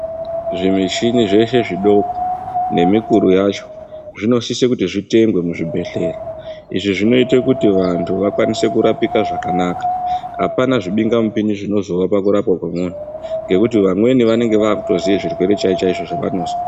Zvimushini zvese zvidoko nemukuru yacho zvinosise kuti zvitengwe muzvibhehleya izvi zvinoita kuti vantu vakwanise kurapike zvakanaka hapana zvibingamupini zvinozovapo pakurapwa kwemunhu ngekuti vamweni vanenge vavakutoziva zvirwere chaizvo izvo zvavanozwa.